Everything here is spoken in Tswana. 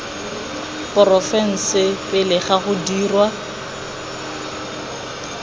porofense pele ga go dirwa